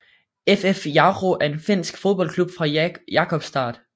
FF Jaro er en finsk fodboldklub fra Jakobstad